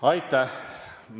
Aitäh!